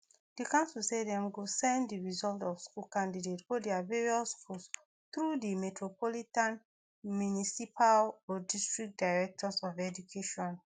di council say dem go send di results of school candidates go dia various schools through di metropolitan municipal or district directors of education